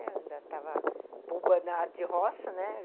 Eu ainda estava boba na área de roça, né?